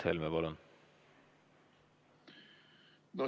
Mart Helme, palun!